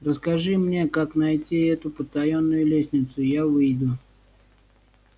расскажи мне как найти эту потаённую лестницу я выйду